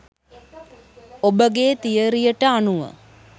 ඔබගේ තියරියට අනුව